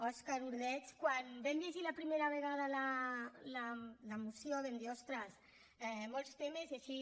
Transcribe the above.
òscar ordeig quan vam llegir la primera vegada la moció vam dir ostres molts temes i així